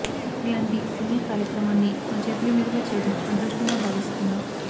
ఇలాంటి పుణ్య కార్యక్రమాన్ని నా చేతుల మీదుగా చేయడం అదృష్టంగా భావిస్తున్నా